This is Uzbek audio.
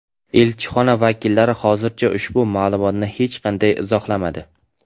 Elchixona vakillari hozircha ushbu ma’lumotni hech qanday izohlamadi.